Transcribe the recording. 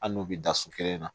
Ali n'u bɛ da so kelen na